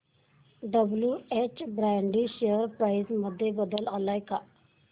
WH Brady share price मध्ये बदल आलाय का